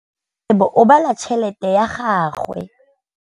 Rakgwêbô o bala tšheletê ya gagwe.